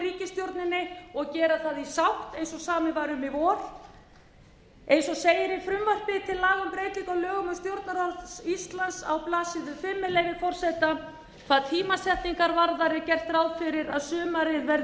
ríkisstjórninni og gera það í sátt eins og samið var um í vor eins og segir í frumvarpi til laga um breytingu á lögum um stjórnarráð íslands á blaðsíðu fimm með leyfi forseta hvað tímasetningar varðar er gert ráð fyrir að sumarið verði nýtt